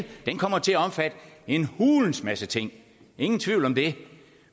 den kommer til at omfatte en hulens masse ting ingen tvivl om det